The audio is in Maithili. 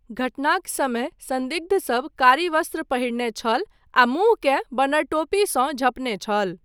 घटनाक समय सन्दिग्धसब कारी वस्त्र पहिरने छल आ मुँहकेँ बनरटोपीसँ झँपने छल।